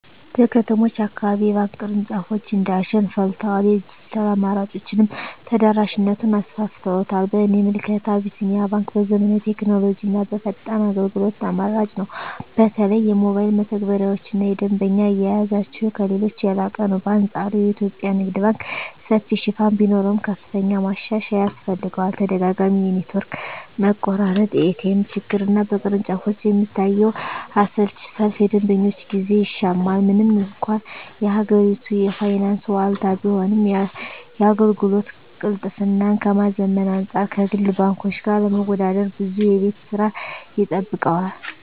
በከተሞች አካባቢ የባንክ ቅርንጫፎች እንደ አሸን ፈልተዋል፤ የዲጂታል አማራጮችም ተደራሽነቱን አሰፍተውታል። በእኔ ምልከታ አቢሲኒያ ባንክ በዘመናዊ ቴክኖሎጂና በፈጣን አገልግሎት ተመራጭ ነው። በተለይ የሞባይል መተግበሪያቸውና የደንበኛ አያያዛቸው ከሌሎች የላቀ ነው። በአንፃሩ የኢትዮጵያ ንግድ ባንክ ሰፊ ሽፋን ቢኖረውም፣ ከፍተኛ ማሻሻያ ያስፈልገዋል። ተደጋጋሚ የኔትወርክ መቆራረጥ፣ የኤቲኤም ችግርና በቅርንጫፎች የሚታየው አሰልቺ ሰልፍ የደንበኞችን ጊዜ ይሻማል። ምንም እንኳን የሀገሪቱ የፋይናንስ ዋልታ ቢሆንም፣ የአገልግሎት ቅልጥፍናን ከማዘመን አንፃር ከግል ባንኮች ጋር ለመወዳደር ብዙ የቤት ሥራ ይጠብቀዋል።